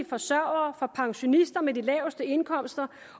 forsørgere for pensionister med de laveste indkomster